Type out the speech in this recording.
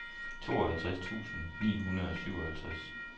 tooghalvtreds tusind ni hundrede og syvoghalvtreds